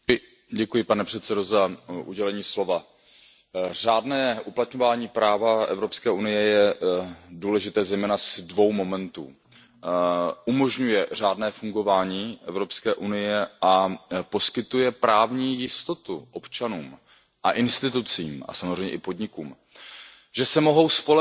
Pane předsedající, řádné uplatňování práva Evropské unie je důležité zejména z dvou momentů. Umožnuje řádné fungování Evropské unie a poskytuje právní jistotu občanům a institucím a samozřejmě i podnikům, že se mohou spolehnout